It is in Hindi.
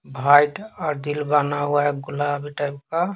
हाइट और दिल बना हुआ है गुलाबी टाइप का।